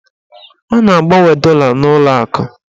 A na-agbanwe dọla n'ụlọakụ